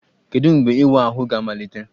Kedu mgbe ịwa ahụ ga-amalite?